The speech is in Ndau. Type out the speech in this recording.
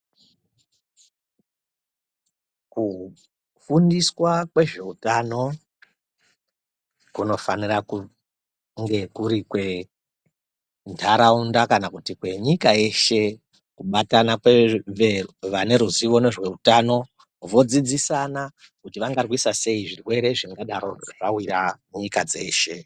Kufundiswa kwezveutano, kunofanira kunge kuri kwentharaunda, kana kuti kwenyika yeshe, kubatana kwevane ruzivo nezveutano, vodzidzisana kuti vangarwisa sei, zvirwere zvingadaro zvawira nyika dzeshe.